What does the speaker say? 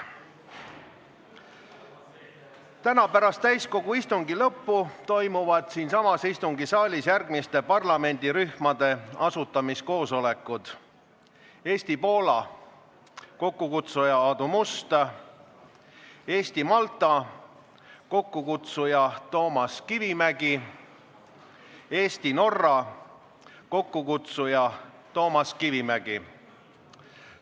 Täna pärast täiskogu istungi lõppu toimuvad siinsamas istungisaalis järgmiste parlamendirühmade asutamiskoosolekud: Eesti-Poola, kokkukutsuja Aadu Must; Eesti-Malta, kokkukutsuja Toomas Kivimägi; Eesti-Norra, kokkukutsuja Toomas Kivimägi.